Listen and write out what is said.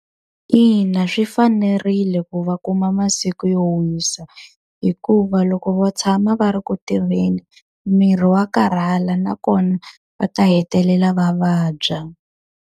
Ina swi fanerile ku va kuma masiku yo wisa. Hikuva loko va tshama va ri ku tirheni miri wa karhala nakona va ta hetelela va vabya.